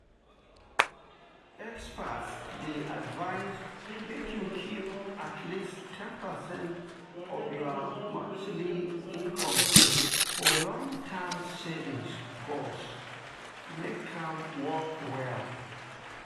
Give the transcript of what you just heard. experts dey advise make you keep at least ten percent of your monthly income for long-term savings goals to make am work well.